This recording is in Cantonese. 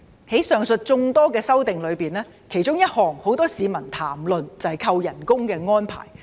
在上述眾多修訂之中，其中一項有很多市民談論，就是扣減酬金的安排。